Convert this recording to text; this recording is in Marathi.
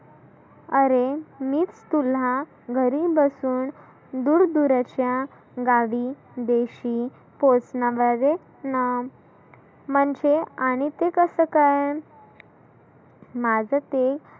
आरे मी तुला घरी बसुन दुर दुर अशा गावी देशी म्हणजे आणि ते कसं काय? माझं ते